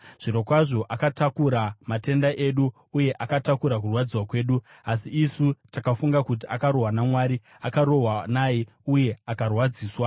Zvirokwazvo akatakura matenda edu, uye akatakura kurwadziswa kwedu; asi isu takafunga kuti akarohwa naMwari, akarohwa naye uye akarwadziswa.